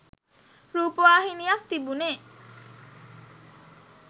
රූපවාහිනියක් තිබුණේ.